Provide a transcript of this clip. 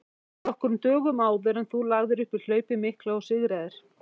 nokkrum dögum áður en þú lagðir upp í hlaupið mikla og sigraðir.